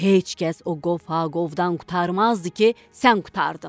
Heç kəs o qovğadan qurtarmazdı ki, sən qurtardın.